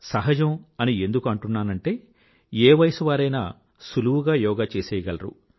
సహజం అని ఎందుకు అంటున్నానంటే ఏ వయసువారైనా సులువుగా యోగా చేసేసేయగలరు